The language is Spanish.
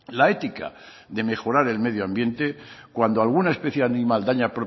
la ética de mejorar el medio ambiente cuando alguna especie animal daña